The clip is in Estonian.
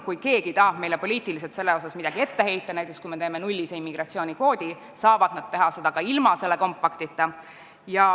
Kui keegi tahab meile selles osas poliitiliselt midagi ette heita – kui me teeme näiteks nullise immigratsioonikvoodi –, saab ta seda teha ka ilma selle kompaktita.